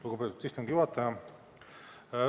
Lugupeetud istungi juhataja!